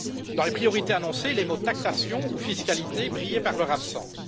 Dans les priorités annoncées, les mots taxation ou fiscalité brillaient par leur absence.